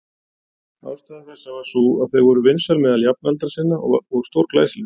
Ástæða þess var sú að þau voru vinsæl meðal jafnaldra sinna og stórglæsileg.